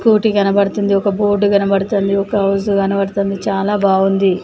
కోటి కనబడుతుంది ఒక బోర్డు కనబడుతుంది ఒక హౌస్ కనబడుతుంది చాలా బాగుంది .